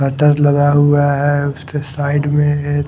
gutter लगा हुआ है उसके साइड में एक--